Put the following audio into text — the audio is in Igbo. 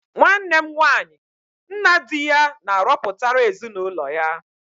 Nwanne m nwaanyị nna di ya na-arọpụtara ezinụlọ ya.